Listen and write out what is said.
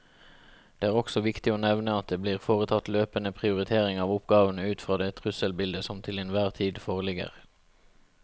Det er også viktig å nevne at det blir foretatt løpende prioritering av oppgavene ut fra det trusselbildet som til enhver tid foreligger.